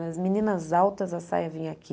Nas meninas altas, a saia vinha aqui.